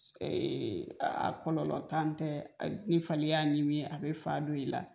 a kɔlɔlɔ ntan tɛ ni fali y'a ɲimi a be fa don i la